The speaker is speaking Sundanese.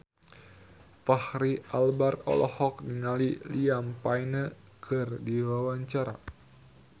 Fachri Albar olohok ningali Liam Payne keur diwawancara